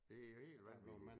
Det er jo helt vanvittigt